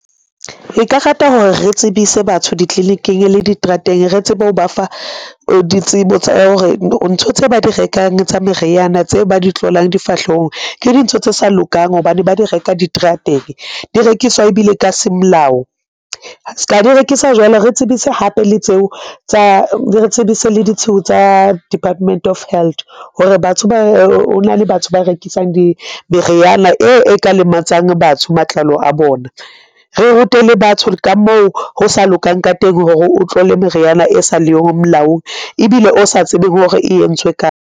Nka rata hore re tsebise batho di-clinic-ing le diterateng, re tsebe ho ba fa ditsebo tsa hore ntho tse ba di rekang tsa meriana tse ba di tlolang difahlehong ke dintho tse sa lokang hobane ba di reka diterateng, di rekiswa ebile ka semolao. Ska di rekiswa jwalo re tsebise hape le tseo. re tsebise le ditshiu tsa Department of Health hore hona le batho ba rekisang meriana e ka lematsang batho matlalo a bona, re rute le batho ka moo ho sa lokang ka teng hore o tlole meriana e sa le yo molaong ebile o sa tsebeng hore e entswe kae.